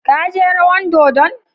Ka je rawan dodon?